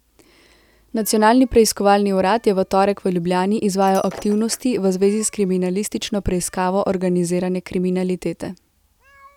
Nacionalni preiskovalni urad je v torek v Ljubljani izvajal aktivnosti v zvezi s kriminalistično preiskavo organizirane kriminalitete.